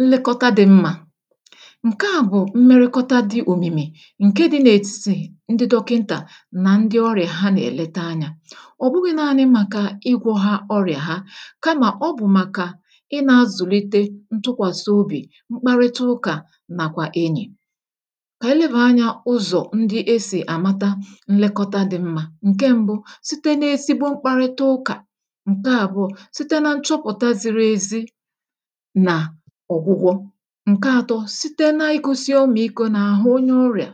Nlekọta dị̇ mmȧ: Nkeà bụ̀ mmerịkọta dị̇ òmìmi̇ ǹke dị̇ n’ètitì ndị dọkịntà nà ndị ọrị̀à ha nà-èlete anyȧ. ọ̀ bụghị̇ naȧnị màkà ịgwọ̇ ha ọrị̀à ha, kamà ọ bụ̀ màkà ịnȧ-azùlite ntụkwàsị obì, mkparịta ụkà, nà kwà enyì. Kà ànyị lebà anyȧ ụzọ̀ ndị esì àmata nlekọta dị̇ mmȧ; Nke ṁbụ,̇ site n’ezigbo mkparịta ụkà. Nke àbụọ,̇ site na nchọpụ̀ta ziri ezi na ọgwụgwo. Nke atọ, site na-igosi ọmịko na-àhụ onye ọrịà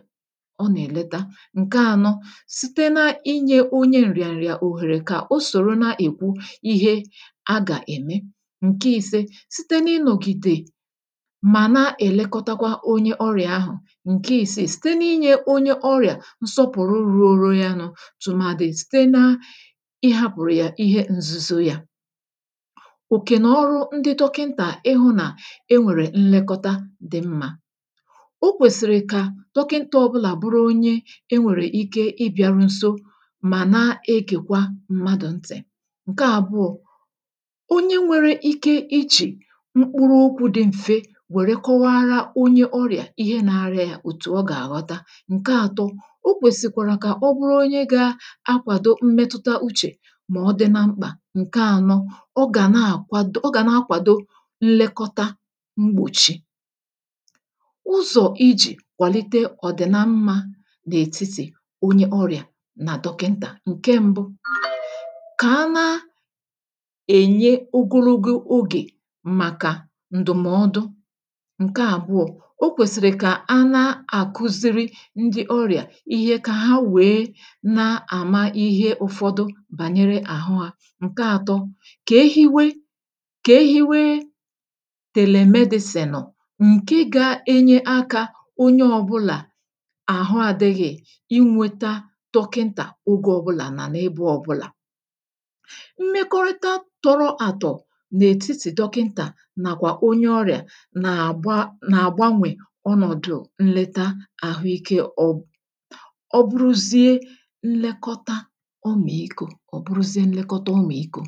ọ nà-èlete. Nke ànọ, site na-inyė onye ǹrịà ǹrịà òhèrè kà o sòro na-èkwu ihe a gà-ème. Nke ise, site na-ịnọ̀gìdè mà na-èlekọtakwa onye ọrịà ahụ̀. Nke isi, site na-inyė onye ọrịà nsọpụ̀rụ ruru ya nu, tụmàdị site na ịhȧpụ̀rụ̀ yà ihe nzuzo yȧ. òkè nà ọrụ ndị dọkịntà ịhụ̇ nà e nwèrè nlekọta dị mmȧ; O kwèsìrì kà dọkịnta ọ bụlà bụrụ onye e nwèrè ike ịbị̇ȧrụ nso mà na-egèkwa mmadụ̀ ntị̀. Nke àbụọ, onye nwere ike ijì mkpụrụokwu̇ dị m̀fe wère kọwara onye ọrịà ihe na-arịa yȧ òtù ọ gà-àghọta. Nke ȧtọ, o kwèsìkwàrà kà ọ bụrụ onye gȧ-akwàdo mmetuta uchè mà ọ dị na mkpà. Nke ȧnọ, ọ gà na-àkwado ọ gà na-akwàdo nlekọta mgbochi. ụzọ̀ ijì kwàlite ọ̀dị̀na mmȧ n’ètitì onye ọrị̀à nà dọkịntà; Nke ṁbụ, ka a na a -enye ogologo ogè màkà ǹdụ̀mọdụ. Nke àbụọ, o kwèsìrì kà a na-àkụziri ndị ọrị̀à ihe kà ha wèe na-àma ihe ụ̇fọdụ bànyere àhụ hȧ. Nke àtọ, kà e hiwe kà e hiwe telemedicinu, ǹke ga-enye akȧ onye ọbụlà àhụ adịghị̇ inweta dọkịntà ogė ọbụlà nà n’ebe ọbụlà. Mmekọrịta tọrọ àtọ̀ n’ètitì dọkịntà nàkwà onye ọrị̀à nà-àgba nà-àgbanwè ọnọ̀dụ̀ nlete àhụike ọ ọ bụrụzie nlekọta ọmị̀ikȯ ọ̀ bụrụzie nlekọta ọmị̀ikȯ.